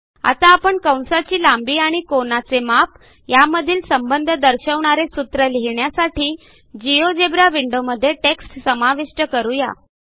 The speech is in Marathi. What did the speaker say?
आता आपण कंसाची लांबी आणि कोनाचे माप यामधील संबंध दर्शवणारे सूत्र लिहिण्यासाठी जिओजेब्रा विंडो मध्ये टेक्स्ट समाविष्ट करू या